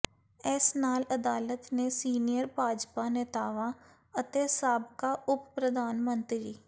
ਇਸ ਨਾਲ ਅਦਾਲਤ ਨੇ ਸੀਨੀਅਰ ਭਾਜਪਾ ਨੇਤਾਵਾਂ ਅਤੇ ਸਾਬਕਾ ਉਪ ਪ੍ਰਧਾਨ ਮੰਤਰੀ